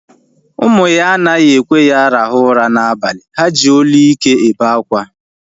Ụmụ ya anaghị ekwe ya rahụ ụra na abalị. Ha ji olu ike ebe akwa